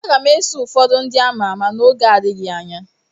Aga m eso ụfọdụ ndị ama ama n'oge n'adịghị anya.